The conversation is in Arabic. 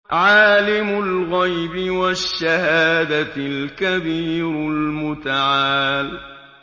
عَالِمُ الْغَيْبِ وَالشَّهَادَةِ الْكَبِيرُ الْمُتَعَالِ